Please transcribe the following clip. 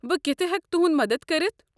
بہٕ کتھہٕ ہٮ۪کہِ تُہٕنٛد مدتھ کٔرِتھ؟